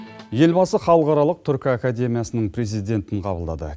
елбасы халықаралық түркі академиясының президентін қабылдады